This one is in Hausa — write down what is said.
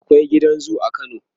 akwai gidan zoo a kano